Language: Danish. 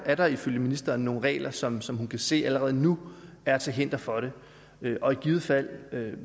er der ifølge ministeren nogen regler som som hun kan se allerede nu er til hinder for det og i givet fald